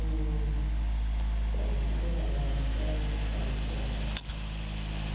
Eni atye ka neno cal pa lutino